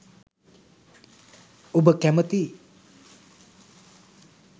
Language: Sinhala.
ඔබ කැමැති